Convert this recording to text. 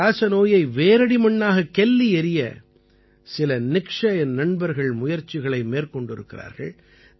இந்தக் காசநோயை வேரடி மண்ணாகக் கெல்லி எறிய சில நிக்ஷய் நண்பர்கள் முயற்சிகளை மேற்கொண்டிருக்கிறார்கள்